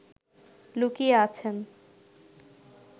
লুকিয়ে আছেন